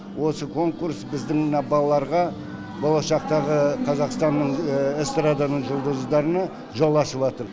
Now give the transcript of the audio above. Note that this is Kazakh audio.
осы конкурс біздің мына балаларға болашақтағы қазақстанның эстраданың жұлдыздарына жол ашыватыр